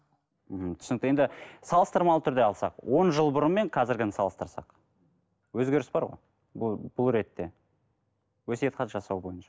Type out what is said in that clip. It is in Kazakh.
мхм түсінікті енді салыстырмалы түрде алсақ он жыл бұрын мен қазіргіні салыстырсақ өзгеріс бар ғой бұл бұл ретте өсиет хат жасау бойынша